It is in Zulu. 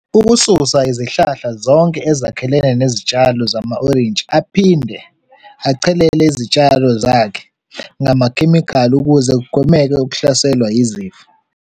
Ukususa izihlahla zonke ezakhelene nezitshalo zama-orintshi, aphinde achelele izitshalo zakhe ngamakhemikhali ukuze kugwemeke ukuhlaselwa izifo.